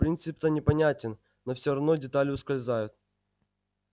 принцип-то понятен но все равно детали ускользают